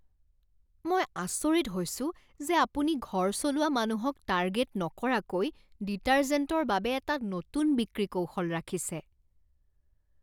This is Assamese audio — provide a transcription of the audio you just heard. মই আচৰিত হৈছো যে আপুনি ঘৰ চলোৱা মানুহক টাৰ্গেট নকৰাকৈ ডিটাৰ্জেণ্টৰ বাবে এটা নতুন বিক্ৰী কৌশল ৰাখিছে।